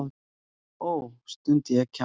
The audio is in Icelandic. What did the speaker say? Ó, stundi ég kjaftstopp.